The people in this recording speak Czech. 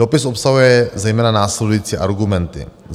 Dopis obsahuje zejména následující argumenty: